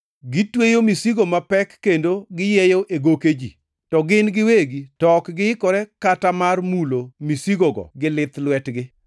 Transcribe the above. Gitweyo misigo mapek kendo giyieyo e goke ji, to gin giwegi to ok giikore kata mar mulo misigogo gi lith lwetgi.